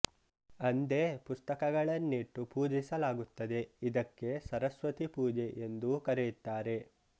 ಅಂದೇ ಪುಸ್ತಕಗಳನ್ನಿಟ್ಟು ಪೂಜಿಸಲಾಗುತ್ತದೆ ಇದಕ್ಕೆ ಸರಸ್ವತಿ ಪೂಜೆ ಎಂದೂ ಕರೆಯುತ್ತಾರೆ